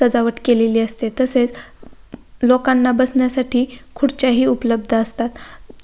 सजावट केलेली असते तसेच ल लोकांना बसण्यासाठी खुर्च्या हि उपलब्ध असतात.